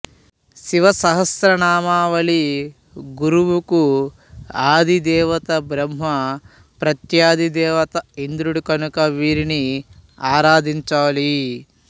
శివ సహస్ర నామావళి గురువుకుఆధిదేవత బ్రహ్మ ప్రత్యధి దేవత ఇంద్రుడు కనుక వీరిని ఆరాధించాలి